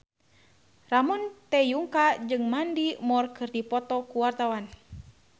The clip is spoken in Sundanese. Ramon T. Yungka jeung Mandy Moore keur dipoto ku wartawan